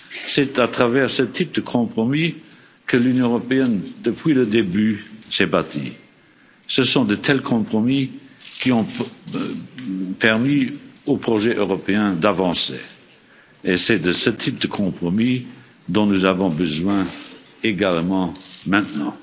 C'est à travers ce type de compromis que l'Union européenne, depuis le début, s'est bâtie. Ce sont de tels compromis qui ont permis au projet européen d'avancer, et c'est de ce type de compromis dont nous avons aussi besoin maintenant.